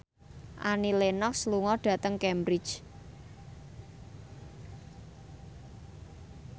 Annie Lenox lunga dhateng Cambridge